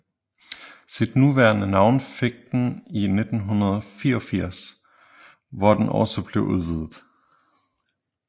Sit nuværende navn fik den i 1988 hvor den også blev udvidet